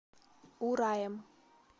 ураем